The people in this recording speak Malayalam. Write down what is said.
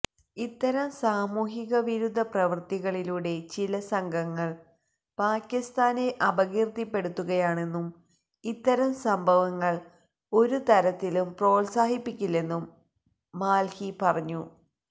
ഇത്തരം സാമൂഹികവിരുദ്ധ പ്രവൃത്തികളിലൂടെ ചില സംഘങ്ങൾ പാകിസ്താനെ അപകീർത്തിപ്പെടുത്തുകയാണെന്നും ഇത്തരം സംഭവങ്ങൾ ഒരുതരത്തിലും പ്രോത്സാഹിപ്പിക്കില്ലെന്നും മാൽഹി പറഞ്ഞു